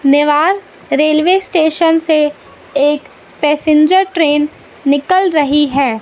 Newar railway station से एक passenger train निकल रही है।